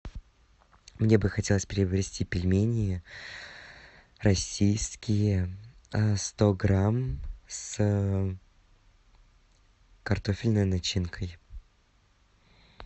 мне бы хотелось приобрести пельмени российские сто грамм с картофельной начинкой